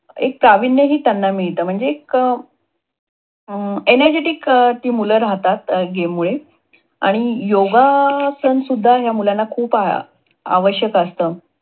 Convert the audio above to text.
एक प्राविण्य हि त्यांना मिळत म्हणजे एक energy ती मुल राहतात, game मुळे आणि योगासन सुद्धा या मुलांना खूप आवश्यक असत.